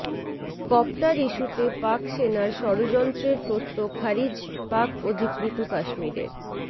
copter ইস্যুতে পাক সেনার ষড়যন্ত্রের তত্ত্ব খারিজ পাক অধিকৃত কাশ্মীরের